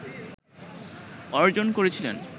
অর্জন করেছিলেন